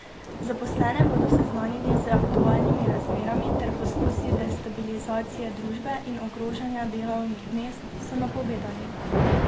Zaposlene bodo seznanili z aktualnimi razmerami ter poskusi destabilizacije družbe in ogrožanja delovnih mest, so napovedali.